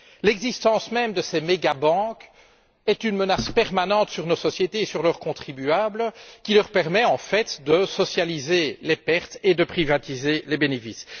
L'existence même de ces mégabanques est une menace permanente qui pèse sur nos sociétés et sur leurs contribuables, qui leur permet en fait de socialiser les pertes et de privatiser les bénéfices.